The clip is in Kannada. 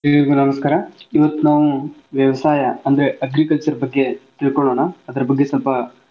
ಎಲ್ರಿಗು ನಮಸ್ಕಾರ ಇವತ್ತ್ ನಾವು ವ್ಯವಸಾಯ ಅಂದ್ರೆ agriculture ಬಗ್ಗೆ ತಿಳಕೊಳೋನಾ